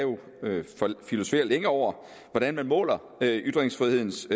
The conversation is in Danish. filosofere længe over hvordan man måler ytringsfrihedens